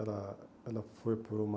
Ela ela foi por uma...